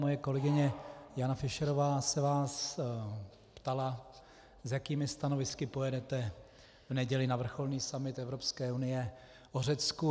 Moje kolegyně Jana Fischerová se vás ptala, s jakými stanovisky pojedete v neděli na vrcholný summit Evropské unie o Řecku.